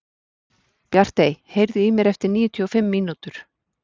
Bjartey, heyrðu í mér eftir níutíu og fimm mínútur.